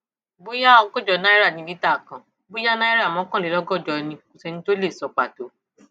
bóyá ọgọjọ náírà ní lítà kan bóyá náírà mọkànlélọgọjọ ni o kò sẹni tó lè sọ pàtó